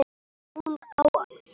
Hún á það skilið.